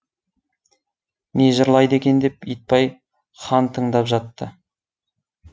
не жырлайды екен деп итбай хан тыңдап жатты